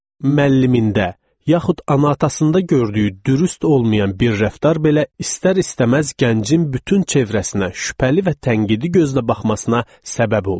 Müəllimində, yaxud ana-atasında gördüyü dürüst olmayan bir rəftar belə istər-istəməz gəncin bütün çevrəsinə şübhəli və tənqidi gözlə baxmasına səbəb olur.